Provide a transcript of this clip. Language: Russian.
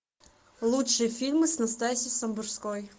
лучшие фильмы с настасьей самбурской